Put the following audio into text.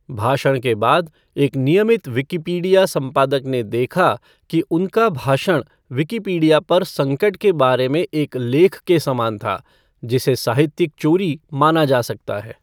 भाषण के बाद, एक नियमित विकिपीडिया संपादक ने देखा कि उनका भाषण विकिपीडिया पर संकट के बारे में एक लेख के समान था, जिसे साहित्यिक चोरी माना जा सकता है।